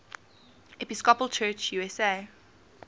episcopal church usa